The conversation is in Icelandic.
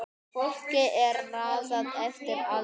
Fólki er raðað eftir aldri